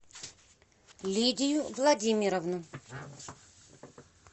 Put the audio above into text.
лидию владимировну